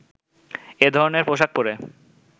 এ ধরনের পোশাক পরে